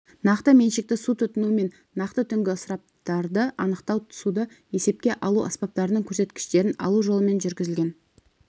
нақты меншікті су тұтыну мен нақты түнгі ысыраптарды анықтау суды есепке алу аспаптарының көрсеткіштерін алу жолымен жүргізілген